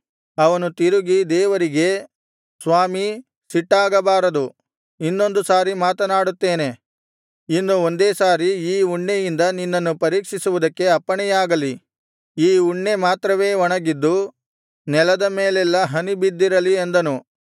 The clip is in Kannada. ಅವನು ತಿರುಗಿ ದೇವರಿಗೆ ಸ್ವಾಮೀ ಸಿಟ್ಟಾಗಬಾರದು ಇನ್ನೊಂದು ಸಾರಿ ಮಾತನಾಡುತ್ತೇನೆ ಇನ್ನು ಒಂದೇ ಸಾರಿ ಈ ಉಣ್ಣೆಯಿಂದ ನಿನ್ನನ್ನು ಪರೀಕ್ಷಿಸುವುದಕ್ಕೆ ಅಪ್ಪಣೆಯಾಗಲಿ ಈ ಉಣ್ಣೆ ಮಾತ್ರವೇ ಒಣಗಿದ್ದು ನೆಲದ ಮೇಲೆಲ್ಲಾ ಹನಿ ಬಿದ್ದಿರಲಿ ಅಂದನು